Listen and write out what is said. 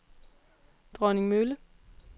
Dronningmølle